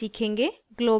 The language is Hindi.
* globbing ग्लोब्बिंग